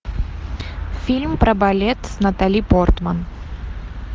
фильм про балет с натали портман